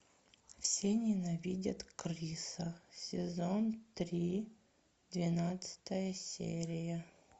все ненавидят криса сезон три двенадцатая серия